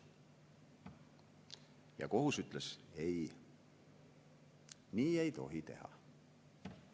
Ja kohus ütles: ei, nii ei tohi teha.